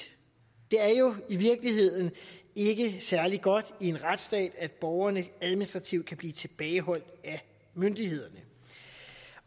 det er jo i virkeligheden ikke særlig godt i en retsstat at borgerne administrativt kan blive tilbageholdt af myndighederne